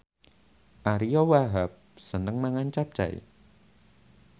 Ariyo Wahab seneng mangan capcay